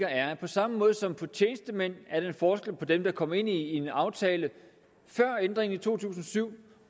er at på samme måde som for tjenestemænd er en forskel på dem der er kommet ind i en aftale før ændringen i to tusind og syv